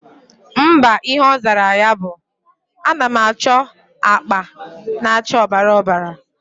Mba, Ihe ozara ya bu:Anam acho akpa na acha obara obara